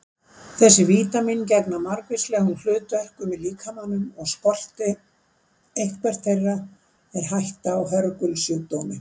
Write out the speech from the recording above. Þessi vítamín gegna margvíslegum hlutverkum í líkamanum og skorti eitthvert þeirra er hætta á hörgulsjúkdómi.